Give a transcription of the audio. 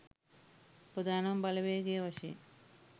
ප්‍රධානම බලවේගය වශයෙන්